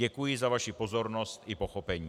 Děkuji za vaši pozornost i pochopení.